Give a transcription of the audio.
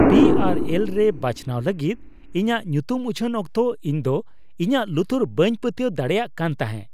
P R L ᱨᱮ ᱵᱟᱪᱷᱱᱟᱣ ᱞᱟᱹᱜᱤᱫ ᱤᱧᱟᱹᱜ ᱧᱩᱛᱩᱢ ᱩᱪᱷᱟᱹᱱ ᱚᱠᱛᱚ ᱤᱧᱫᱚ ᱤᱧᱟᱹᱜ ᱞᱩᱛᱩᱨ ᱵᱟᱹᱧ ᱯᱟᱹᱛᱭᱟᱹᱣ ᱫᱟᱲᱮᱭᱟᱜ ᱠᱟᱱ ᱛᱟᱦᱮᱸ ᱾